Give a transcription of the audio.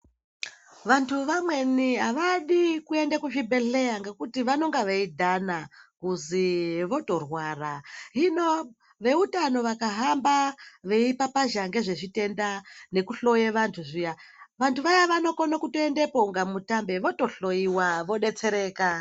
Vantu vanweni avadi kuende kuzvibhedhlera ngekuti vanonga veidhana kuzi votorwara, hino veutano vakahamba veipapazha ngezvezvitenda nekuhloya vantu zviya vantu vaya vanokona kuendepo kunge mutambe votohloiwa voto detsereka.